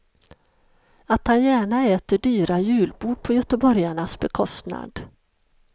Att han gärna äter dyra julbord på göteborgarnas bekostnad.